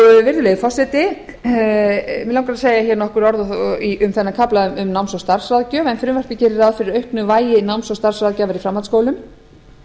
traust virðulegi forseti mig langar að segja nokkur orð um kaflann um náms bug starfsráðgjöf en frumvarpið gerir ráð fyrir auknu vægi náms og starfsráðgjafar í framhaldsskólum